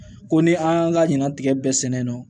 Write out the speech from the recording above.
Ko ni an y'an ka ɲina tigɛ bɛɛ sɛnɛ nɔ